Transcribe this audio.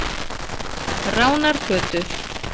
Ránargötu